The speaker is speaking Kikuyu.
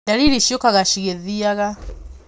Ndariri ciũkaga cigĩthiaga.